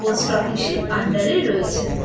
Post office -এর under এই রয়েছে।